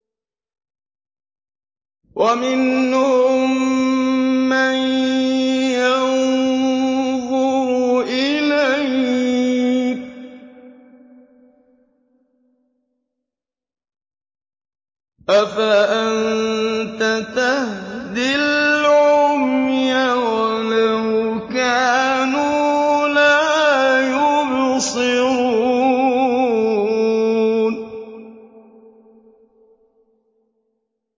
وَمِنْهُم مَّن يَنظُرُ إِلَيْكَ ۚ أَفَأَنتَ تَهْدِي الْعُمْيَ وَلَوْ كَانُوا لَا يُبْصِرُونَ